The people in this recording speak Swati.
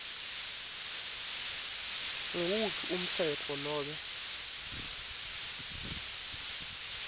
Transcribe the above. nguwuphi umtsetfo nobe